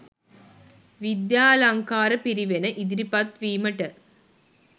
විද්‍යාලංකාර පිරිවෙන ඉදිරිපත් වීමට